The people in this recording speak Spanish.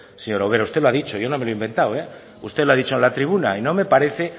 señora ubera usted lo ha dicho yo no me lo he inventado usted lo ha dicho en la tribuna y no me parece